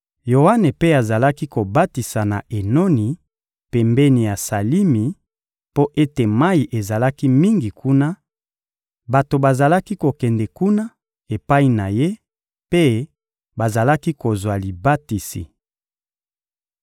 Yoane mpe azalaki kobatisa na Enoni, pembeni ya Salimi, mpo ete mayi ezalaki mingi kuna; bato bazalaki kokende kuna epai na ye mpe bazalaki kozwa libatisi.